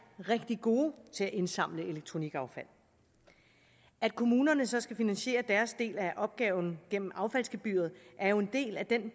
rigtig gode til at indsamle elektronikaffald at kommunerne så skal finansiere deres del af opgaven gennem affaldsgebyret er jo en del af den